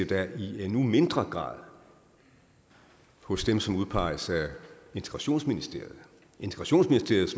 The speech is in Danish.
da i endnu mindre grad hos dem som udpeges af integrationsministeriet integrationsministeriet